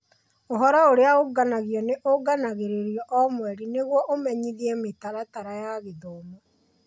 Ũhoro ũrĩa ũũnganagio nĩ ũũnganagĩrĩrũo o mweri, nĩguo nĩguo ũmenyithie mĩtaratara ya gĩthomo.